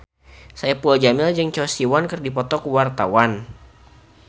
Saipul Jamil jeung Choi Siwon keur dipoto ku wartawan